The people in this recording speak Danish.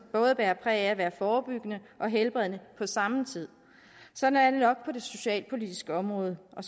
både bærer præg af at være forebyggende og helbredende på samme tid sådan er det nok på det socialpolitiske område og